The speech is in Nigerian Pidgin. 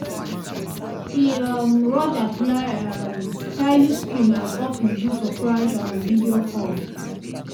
e um rush apply um styling cream as office do surprise um video call.